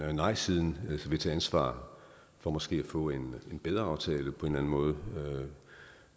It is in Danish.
om nejsiden vil tage ansvar for måske at få en bedre aftale på en eller anden måde